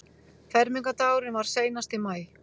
Fermingardagurinn var seinast í maí.